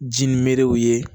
Ji ni merew ye